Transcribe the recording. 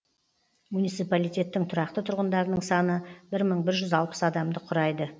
муниципалитеттің тұрақты тұрғындарының саны бір мың бір жүз алпыс адамды құрайды